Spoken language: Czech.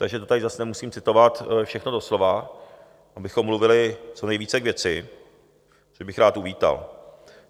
Takže to tady zase nemusím citovat všechno doslova, abychom mluvili co nejvíce k věci, to bych rád uvítal.